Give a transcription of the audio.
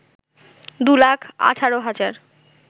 ২ লাখ ১৮ হাজার